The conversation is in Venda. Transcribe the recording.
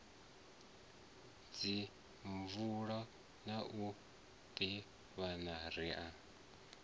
dzimvalo na u ḓivhana ri